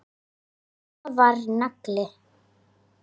Mamma var nagli.